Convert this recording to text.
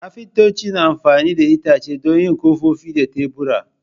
Kafintoci na amfani da itace don yin kofofi da tebura.